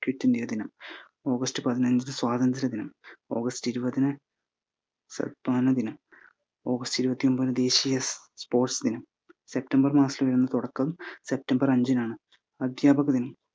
Kit India ദിനം, August പതിനഞ്ച് സ്വാതന്ത്ര്യ ദിനം, ഓഗസ്റ്റ് ഇരുപതിന് ഓഗസ്റ്റ് ഇരുപത്തിയൊമ്പത് ദേശിയ spots ദിനം, സെപ്റ്റംബർ മാസത്തില് തുടക്കം സെപ്റ്റംബർ അഞ്ചിനാണ്‌ അദ്ധ്യാപക ദിനം.